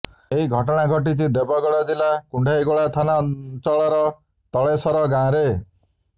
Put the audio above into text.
ଏହି ଘଟଣା ଘଟିଛି ଦେବଗଡ଼ ଜିଲ୍ଲା କୁଣ୍ଢେଇଗୋଳା ଥାନା ଅଞ୍ଚଳର ତଳେସର ଗାଁରେ